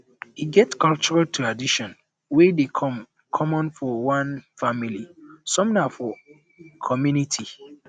e get cultural tradition wey dey common for one family some na for for community